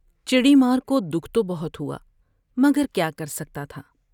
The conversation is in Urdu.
چڑی مار کو دکھ تو بہت ہوا مگر کیا کر سکتا تھا ۔